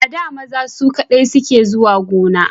A da maza su kadai ke zuwa gona